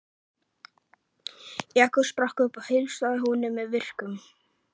Jakob spratt upp og heilsaði honum með virktum.